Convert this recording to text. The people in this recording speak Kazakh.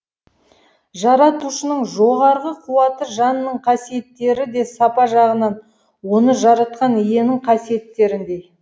жаратушының жоғарғы қуаты жанның қасиеттері де сапа жағынан оны жаратқан иенің қасиеттеріндей